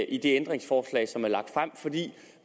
ændringsforslag som er lagt frem for